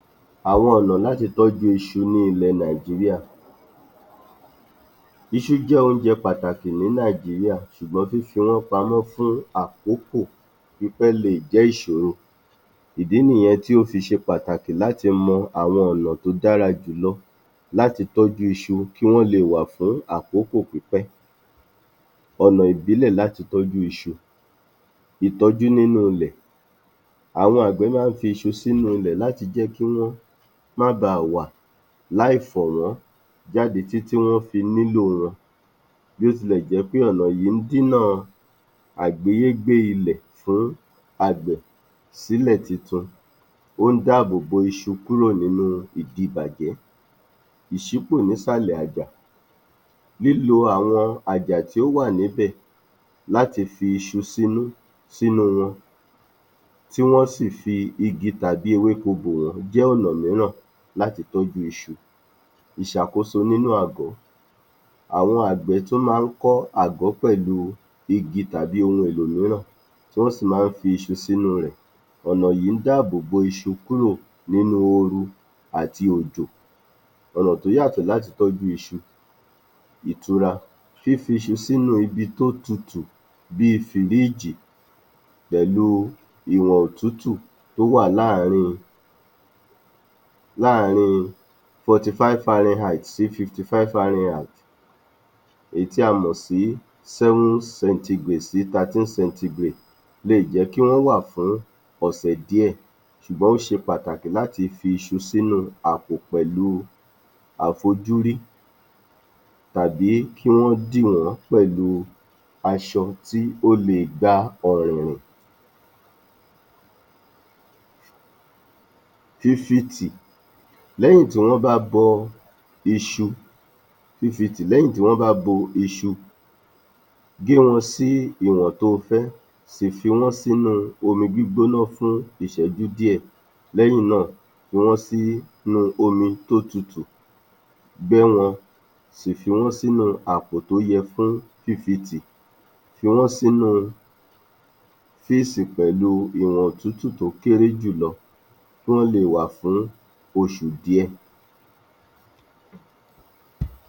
Àwọn ọ̀nà láti tọ́jú iṣu ní ilẹ̀ Nàìjíríà Iṣu jẹ oúnjẹ pàtàkì ní Nàìjíríà ṣùgbọ́n fífí wọ́n pamọ́ fún àkókò pípẹ́ lè jẹ́ ìṣòro, ìdí nìyẹn tí ó fi ṣe pàtàkì láti mọ àwọn ọ̀nà tó dára jù lọ láti tọ́jú iṣu, kí wọ́n lè wà fún àkókò pípẹ́. ọ̀nà ìbílẹ̀ láti tọ́jú iṣu, ìtọ́jú nínú ilẹ̀, àwọn àgbẹ̀ máa ń fi iṣu sí inú ilẹ̀ láti jẹ́ kí wọ́n máa ba wà láì fà wọ́n jádé títí wọ́n fi nílò wọn, bí ó tilẹ̀ jẹ́ pé ọ̀nà yìí dínà àgbéyégbé ilẹ̀ fún àgbẹ̀ sílẹ̀ tuntun, ó ń dá àbò bo iṣu kúrò nínú ìdibàjẹ́. Ìṣúpọ̀ ní ìsàlẹ̀ àjà, lílo àwọn àjà tí ó wà ní ibẹ̀ láti fi iṣu sínú wọn, tí wọ́n si fi igi tàbí ewéko bò wọ́n jẹ́ ọ̀nà mìíràn láti tọ́jú iṣu. Ìṣàkoso nínú àgọ̀, àwọn àgbẹ̀ tún máa ń kọ́ àgọ̀ pẹ̀lú igi tàbí ohun èlò mìíràn, tí wọ́n si máa ń fi iṣu sínú rẹ̀, ọ̀nà yìí ń dá àbò bo iṣu kúrò nínú oru àti òjò. ọ̀nà tó yátọ̀ láti tọ́jú iṣu ìtura, fífi iṣu sínu ibi tó tutù bí fìríjìì pẹ̀lú ìwọ̀n òtútù tó wà láàrin 45 Fahrenheit sí 55 Fahrenheit, èyí tí a mọ̀ sí 7 centigrade sí 13 centigrade lè jẹ́ kí wọ́n wà fún ọ̀sẹ̀ díẹ̀, ṣùgbọ́n ó ṣe pàtàkì láti fi iṣu sínú àpò pẹ̀lú àfojúrí tàbí kí wọ́n dì wọ́n pẹ̀lú aṣọ tí ó le gba ọ̀rìyìn. Fífitì, lẹ́yìn tí wọ́n bá bó iṣu, gé wọn sí ìwọn to fẹ́, sì fi wọ́n sínu omi gbígbóná fún ìṣẹ́jú díẹ̀, lẹ́yìn náà, fi wọ́n sínu omi tó tutù, bó wọn, sì fi wọ́n sínu àpò tó yẹ fún fífitì, fí wọ́n sínu fírìsì pẹ̀lú ìwọ̀n òtútù tí ó kéré jù lọ, kí wọ́n lè wà fún oṣù díẹ̀.